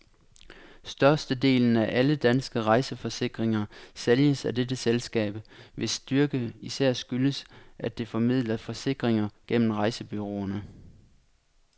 Størstedelen af alle danske rejseforsikringer sælges af dette selskab, hvis styrke især skyldes, at det formidler forsikringer gennem rejsebureauerne.